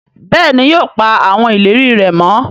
béèni yóò pa awọn ìlérí rẹ mọ.